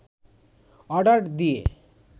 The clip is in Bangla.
অর্ডার দিয়ে